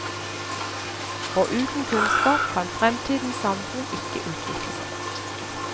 Og uten kunnskap kan fremtidens samfunn ikke utvikle seg.